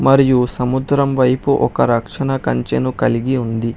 మరియు సముద్రం వైపు ఒక రక్షణ కంచెను కలిగి ఉంది.